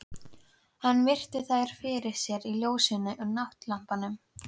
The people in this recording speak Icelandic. Hann virti þær fyrir sér í ljósinu frá náttlampanum.